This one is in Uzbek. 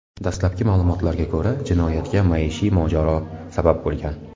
Dastlabki ma’lumotlarga ko‘ra, jinoyatga maishiy mojaro sabab bo‘lgan.